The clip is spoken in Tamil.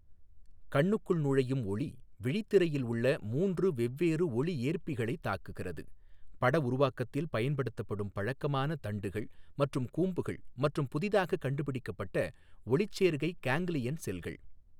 கண்ணுக்குள் நுழையும் ஒளி விழித்திரையில் உள்ள மூன்று வெவ்வேறு ஒளி ஏற்பிகளைத் தாக்குகிறது பட உருவாக்கத்தில் பயன்படுத்தப்படும் பழக்கமான தண்டுகள் மற்றும் கூம்புகள் மற்றும் புதிதாக கண்டுபிடிக்கப்பட்ட ஒளிச்சேர்க்கை கேங்க்லியன் செல்கள்.